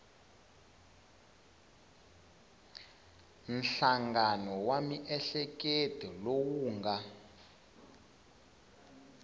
nhlangano wa miehleketo lowu nga